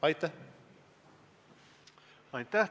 Aitäh!